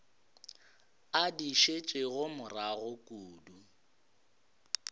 a di šetšego morago kudu